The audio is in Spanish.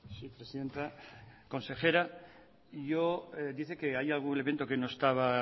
sí presidenta consejera yo dice que hay algún elemento que no estaba